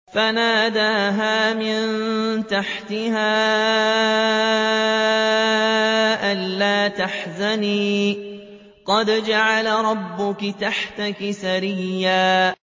فَنَادَاهَا مِن تَحْتِهَا أَلَّا تَحْزَنِي قَدْ جَعَلَ رَبُّكِ تَحْتَكِ سَرِيًّا